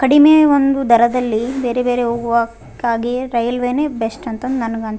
ಕಡಿಮೆ ಒಂದು ದರದಲ್ಲಿ ಬೇರೆ ಬೇರೆ ಹೋಗುವಕ್ಕಾಗಿ ರೈಲ್ವೆನೇ ಬೆಸ್ಟ್ ಅಂತ ನನ್ಗ್ ಅನ್ಸ್--